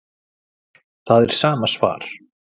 Það er sama svar